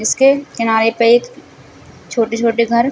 इसके किनारे पर एक छोटे-छोटे घर --